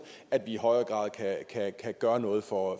at vi i højere grad kan gøre noget for